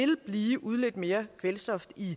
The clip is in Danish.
vil blive udledt mere kvælstof i